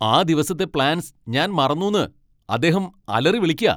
ആ ദിവസത്തെ പ്ലാൻസ് ഞാൻ മറന്നുന്ന് അദ്ദേഹം അലറിവിളിക്കാ.